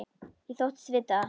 Ég þóttist vita það.